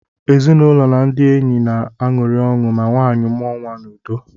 Ezinụlọ na ndị enyi na-aṅụrị ọṅụ ma nwanyị mụọ nwa n’udo